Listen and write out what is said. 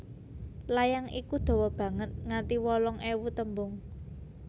Layang iku dawa banget nganti wolung ewu tembung